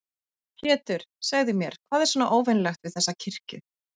Pétur, segðu mér, hvað er svona óvenjulegt við þessa kirkju?